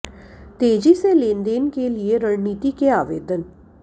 तेजी से लेनदेन के लिए रणनीति के आवेदन